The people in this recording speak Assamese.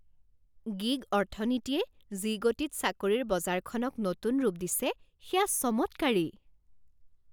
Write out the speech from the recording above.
গিগ অৰ্থনীতিয়ে যি গতিত চাকৰিৰ বজাৰখনক নতুন ৰূপ দিছে সেয়া চমৎকাৰী।